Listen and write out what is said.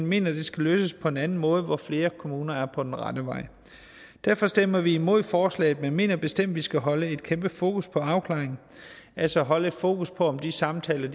mener det skal løses på en anden måde hvor flere kommuner er på den rette vej derfor stemmer vi imod forslaget men mener bestemt vi skal holde et kæmpe fokus på afklaring altså holde fokus på om de samtaler